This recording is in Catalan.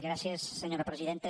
gràcies senyora presidenta